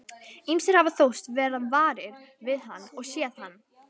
Ýmsir hafa þóst verða varir við hann og séð hann.